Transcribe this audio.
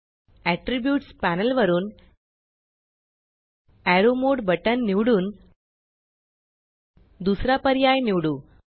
attributes panel वरुन arrow मोडे arrow mode button निवडून दुसरा पर्याय निवडू